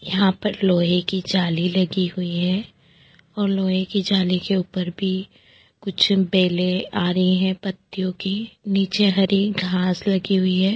यहां पर लोहे की जाली लगी हुई है और लोहे की जाली के ऊपर भी कुछ बेले आ रही है पत्तियों की नीचे हरी घास लगी हुई है।